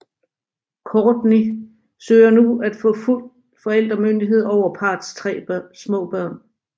Kourtney søger nu at få fuld forældremyndighed over parrets tre små børn